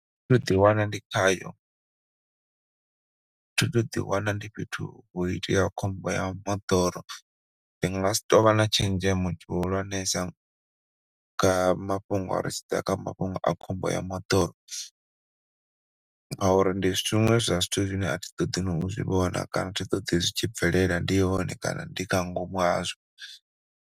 Thi thu ḓi wana ndi khayo, thi thu ḓi wana ndi fhethu ho iteaho khombo ya moḓoro. Ndi nga si tou vha na tshenzhemo tshi hulwanesa nga mafhungo, ri tshi ḓa kha mafhungo a khombo ya moḓoro ngauri ndi zwiṅwe zwa zwithu zwine athi ṱoḓi na u zwi vhona kana athi ṱoḓi zwi tshi bvelela ndi hone kana ndi nga ngomu hazwo.